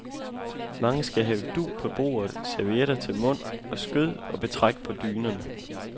Mange skal have dug på bordet, servietter til mund og skød og betræk på dynerne.